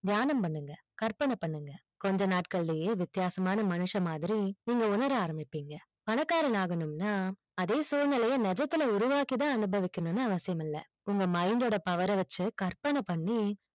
தியானம் பண்ணுங்க கற்பனை பண்ணுங்க கொஞ்சம் நாட்களிலே வித்தியாசமான மனிஷ மாதிரி நீங்க உன்னர ஆரம்பிப்பிங்கிங்க பணக்காரன் ஆகனும்னா அதே சூழ்நிலை நிஜத்துல உருவாக்கி அனுபக்கினும் அவசியம் இல்லை உங்க mind ஓட power அ வச்சி கற்பனை பண்ணி